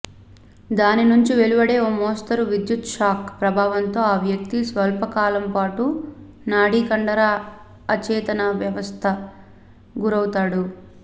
దాని నుంచి వెలువడే ఓ మోస్తరు విద్యుత్షాక్ ప్రభావంతో ఆ వ్యక్తి స్వల్పకాలంపాటూ నాడీకండర అచేతనావస్థకు గురౌతాడు